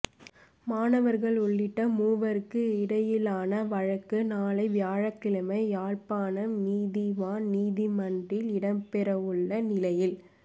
மாணவர்கள் உள்ளிட்ட மூவருக்கும் இடையிலான வழக்கு நாளை வியாழக்கிழமை யாழ்ப்பாணம் நீதிவான் நீதிமன்றில் இடம்பெறவுள்ள நிலையில்